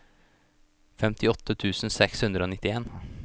femtiåtte tusen seks hundre og nittien